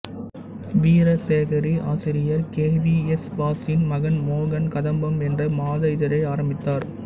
வீரகேசரி ஆசிரியர் K V S வாசின் மகன் மோகன் கதம்பம் என்ற மாத இதழை ஆரம்பித்தார்